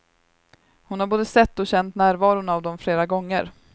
Hon har både sett och känt närvaron av dem flera gånger.